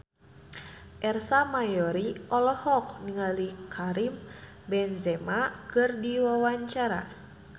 Ersa Mayori olohok ningali Karim Benzema keur diwawancara